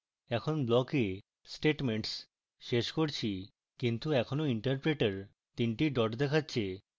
এখন block we statements শেষ করেছি কিন্তু এখনো interpreter তিনটি ডট দেখাচ্ছে